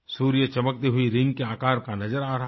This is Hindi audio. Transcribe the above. सूर्य चमकती हुई रिंग के आकार का नज़र आ रहा था